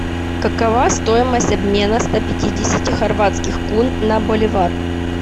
какова стоимость обмена ста пятидесяти хорватских кун на боливар